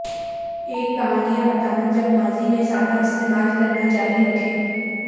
ایک کہانیاں بتانا جب ماضی میں سادہ استعمال کرنا جاری رکھیں